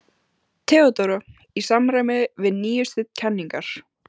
THEODÓRA: Í samræmi við nýjustu kenningar